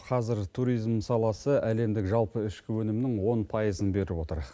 қазір туризм саласы әлемдік жалпы ішкі өнімнің он пайызын беріп отыр